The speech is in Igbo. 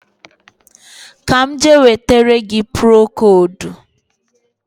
Ka m je wetara gị procodu